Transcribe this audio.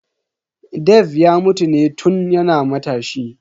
Dave ya mutu ne tun yana matashi.